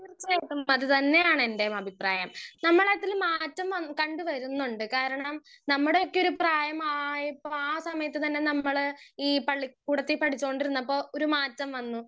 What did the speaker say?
speaker 1 തീർച്ചയായിട്ടും അതുതന്നെയാണ് എന്റേം അഭിപ്രായം നമ്മളതില് മാറ്റം വന്ന് കണ്ടുവരുന്നുണ്ട് കാരണം നമ്മടക്കെ ഒരു പ്രായം ആയപ്പോ എ സമയത്ത് തന്നെ നമ്മൾ ഈ പളി കുടത്ത് പേടിച്ചോണ്ടിരിന്നപ്പോ ഒരു മാറ്റം വന്നു